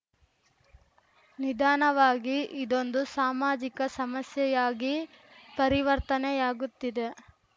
ನಿಧಾನವಾಗಿ ಇದೊಂದು ಸಾಮಾಜಿಕ ಸಮಸ್ಯೆಯಾಗಿ ಪರಿವರ್ತನೆಯಾಗುತ್ತಿದೆ